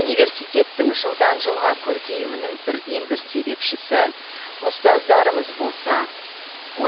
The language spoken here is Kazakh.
университеттің жылдан жылға көркеюінің бірден бір себепшісі ұстаздарымыз болса